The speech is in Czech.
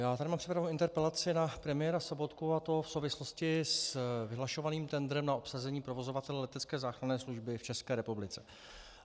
Já tady mám připravenou interpelaci na premiéra Sobotku, a to v souvislosti s vyhlašovaným tendrem na obsazení provozovatele letecké záchranné služby v České republice.